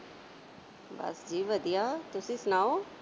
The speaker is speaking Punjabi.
ਬਸ ਜੀ ਵਧੀਆ। ਤੁਸੀਂ ਸੁਣਾਓ।